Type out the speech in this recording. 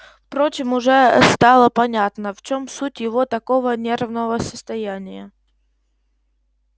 впрочем уже стало понятно в чем суть его такого нервного состояния